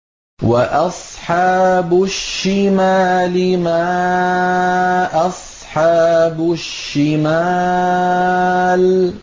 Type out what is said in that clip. وَأَصْحَابُ الشِّمَالِ مَا أَصْحَابُ الشِّمَالِ